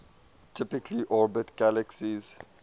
typically orbit galaxies